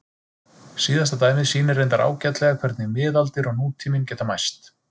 Síðasta dæmið sýnir reyndar ágætlega hvernig miðaldir og nútíminn geta mæst.